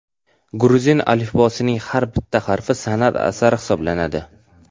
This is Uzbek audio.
Gruzin alifbosining har bir harfi san’at asari hisoblanadi.